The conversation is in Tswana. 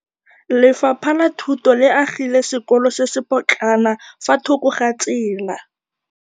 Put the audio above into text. Lefapha la Thuto le agile sekôlô se se pôtlana fa thoko ga tsela.